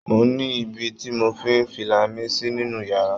Mo ní ibí tí mò ń fi fìlà sí nínú yàrá